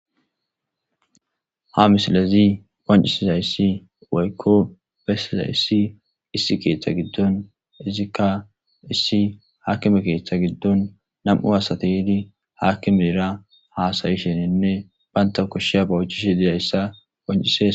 Ha misiley qoncisizays woyko besizays issi ketha gidon izzika akime ketha gidon 2 asat yid hakimera hasa'ishene bantas koshizaysa oychishe dishn beses.